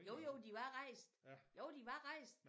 Jo jo de var rejst jo de var rejst